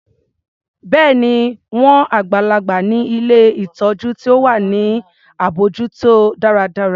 Bẹ́ẹ̀ni, wọn àgbàlagbà ni ilé ìtọjú ti wà ní abójútó dáradára.